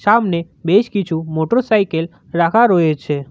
সামনে বেশ কিছু মোটরসাইকেল রাখা রয়েছে।